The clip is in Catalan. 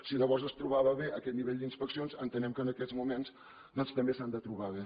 si llavors es trobava bé aquest nivell d’inspeccions entenem que en aquests moments doncs també s’han de trobar bé